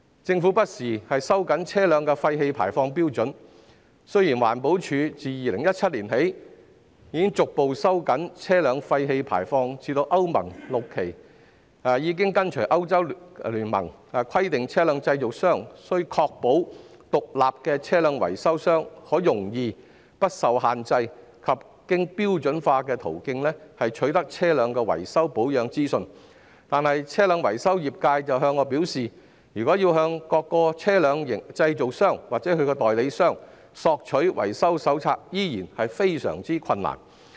政府不時收緊車輛廢氣排放標準，雖然環境保護署自2017年起逐步收緊車輛廢氣排放標準至歐盟 VI 期，並已跟隨歐洲聯盟規定車輛製造商須確保獨立的車輛維修商可容易、不受限制及經標準化途徑取得車輛的維修保養資訊，但是，車輛維修業界向我表示，如要向各車輛製造商或其代理商索取維修手冊，依然非常困難。